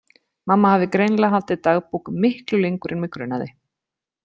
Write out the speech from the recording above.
Mamma hafði greinilega haldið dagbók miklu lengur en mig grunaði.